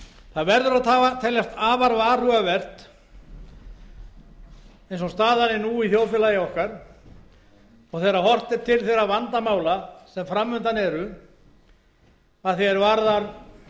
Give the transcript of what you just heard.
það verður að teljast afar varhugavert eins og staðan er nú í þjóðfélagi okkar og þegar horft er til þeirra vandamála sem fram undan eru að því er varðar